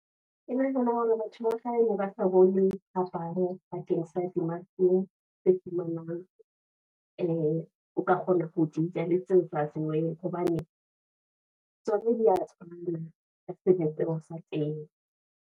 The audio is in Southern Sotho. E le hore batho ba kgale ne ba sa bone phapang bakeng sa di-mushroom tse fumanwang, o ka kgona ho dija, le tse sa tsejweng hobane tsona di ya ka sebopeho sa teng.